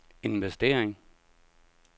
investering